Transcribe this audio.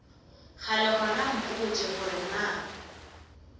kgale gona mpotše gore na